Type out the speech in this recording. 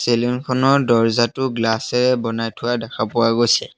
Ceiling খনৰ দৰ্জাটো glass এৰে বনাই থোৱা দেখা পোৱা গৈছে।